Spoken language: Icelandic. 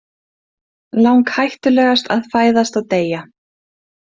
Langhættulegast að fæðast og deyja!